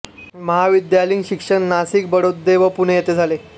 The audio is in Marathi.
महाविद्यालयीन शिक्षण नासिक बडोदे व पुणे येथे झाले